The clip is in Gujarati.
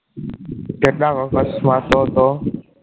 કેટલા વખત શ્વાસો હતો